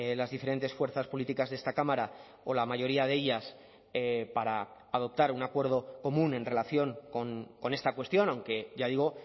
las diferentes fuerzas políticas de esta cámara o la mayoría de ellas para adoptar un acuerdo común en relación con esta cuestión aunque ya digo